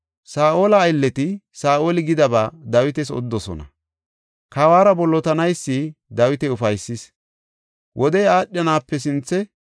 Saa7ola aylleti Saa7oli gidaba Dawitas odidosona; kawuwara bollotanaysi Dawita ufaysis. Wodey aadhanape sinthe,